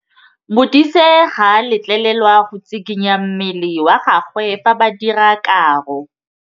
Modise ga a letlelelwa go tshikinya mmele wa gagwe fa ba dira karô.